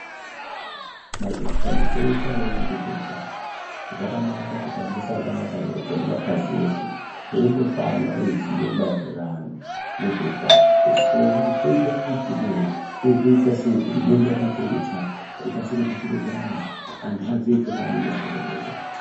Mapandiko eshe anokona nezveutano zvakanaka kuti ambosangana pamwepo nemapazi eshe eimbopana ruzivo maerirano nezveutano Oona kuti toita maitirei uye toita sei nedenda rekuchaya rikasikire kusvike kuvantu vantu vaziye chokwadi maerirano neutano hwavo.